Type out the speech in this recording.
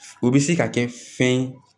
O bɛ se ka kɛ fɛn ye